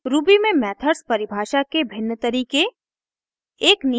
ruby में methods परिभाषा के भिन्न तरीके